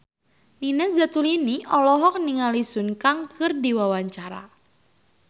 Nina Zatulini olohok ningali Sun Kang keur diwawancara